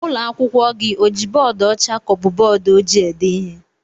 Ụlọ akwụkwọ gị o ji bọọdu ọcha ka ọ bụ bọọdu ojii ede ihe?